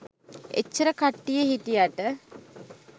එච්චර කට්ටිය හිටියට